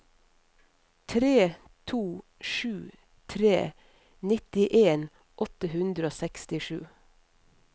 tre to sju tre nittien åtte hundre og sekstisju